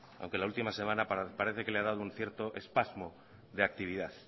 aunque la última semana parece que le ha dado un cierto espasmo de actividad